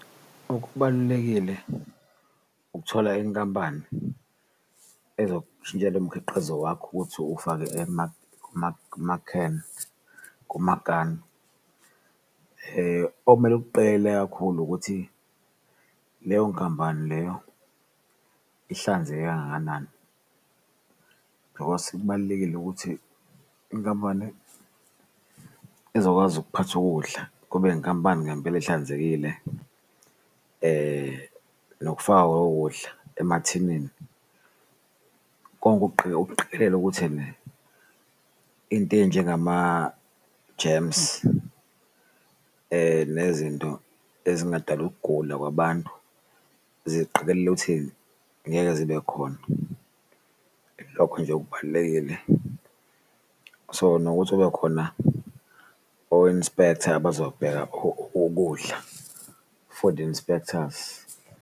Okubalulekile ukuthola inkampani ezokushintshela umkhiqizo wakho ukuthi uwufake ama-can or amakani okumele ukuqikelele kakhulu ukuthi leyo nkampani leyo ihlanzeke kangakanani, bhikosi kubalulekile ukuthi inkampani ezokwazi ukuphatha ukudla kube inkampani ngempela ehlanzekile. Nokufakwa kokudla emathinini konke ukuqikelele ukuthi into eyinjengama-germs nezinto ezingadala ukugula kwabantu, ziqikelele ukuthi ngeke zibe khona, ilokho nje okubalulekile. So, nokuthi kubekhona o-inspector abazobheka ukudla, food inspectors.